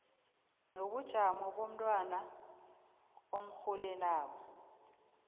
nobujamo bomntwana omrholelako